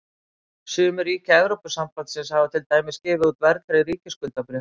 sum ríkja evrópusambandsins hafa til dæmis gefið út verðtryggð ríkisskuldabréf